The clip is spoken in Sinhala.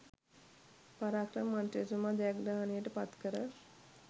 පරාක්‍රම මන්ත්‍රීතුමා ජයග්‍රහණයට පත් කර